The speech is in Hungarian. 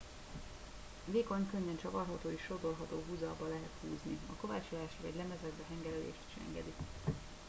vékony könnyen csavarható és sodorható huzalba lehet húzni a kovácsolást vagy lemezekbe hengerelést is engedi